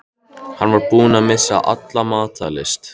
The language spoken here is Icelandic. Hann var búinn að missa alla matar lyst.